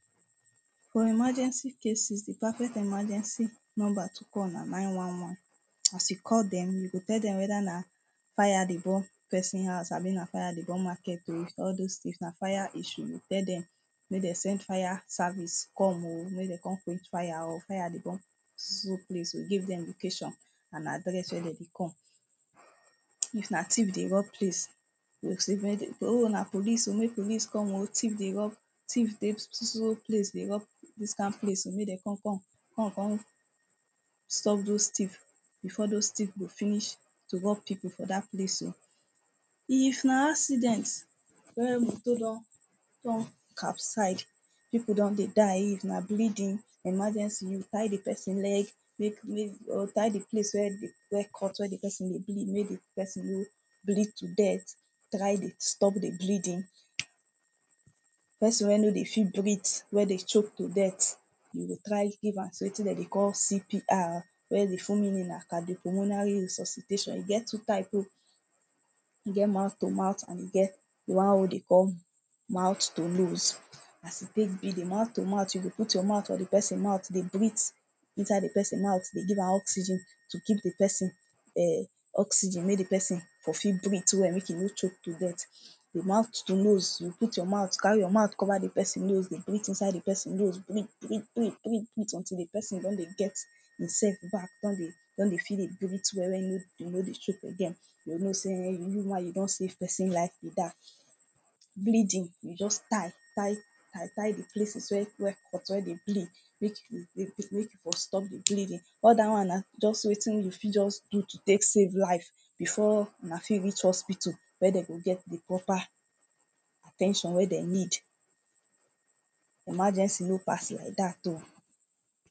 For emergency cases, the perfect emergency numbere to call na nine one one. As you call dem, you go tell dem whether na fire dey burn person house abi na fire dey burn market oh. All dos things na fire issue. you go tell dem make dem send fire service come oh. Make dem con quench fire oh. Fire dey burn so so place oh. Give dem location and address wey dem go come. If na thief dey rob place you go say make na police oh, make police come oh thief dey rob. Theif dey so so place dey rob dis kind place. Make dem con come. Com con stop dos thief before dos thief go finish to rob people for dat place oh. If na accident wey motor don don capside People don dey die. If na bleeding emergency. You go tie the person leg make make or tie the place where the where cut, where the person dey bleed. Make the person no bleed to death. Try dey to stop the bleeding. Person wey no dey fit breath, wey dey choke to death you go try give am wetin dem dey call CPR. Wey the full meaning na cardiopulmonary resuscitation. E get two type oh. E get mouth to mouth and e get the one wey they call mouth to nose. As e take be, the mouth to mouth, you go put your mouth for the person mouth dey breath inside the person mouth. Dey give am oxygen to keep the person[um] oxygen make the person for fit breath well. Make e no choke to death. The mouth to nose, you go put your mouth, carry your mouth cover the person nose dey breath inside the person nose. Breath breath breath until the person don dey get e self back. Con dey con dey feel dey breath well. When e no e no dey choke again. You go know sey um you one you don save person life. Bleeding you go just tie, tie tie tie the places wey cut wey dey bleed make you make you for stop the bleeding. All dat one na just wetin you fit just do to take save life before huna fit reach hospital wey dem go get the proper at ten tion wey dem need. Emergency no pass like dat oh.